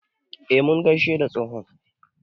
E, mun gaishe da tsohon.